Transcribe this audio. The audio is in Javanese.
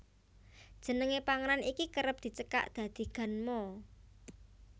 Jenenge panganan iki kerep dicekak dadi ganmo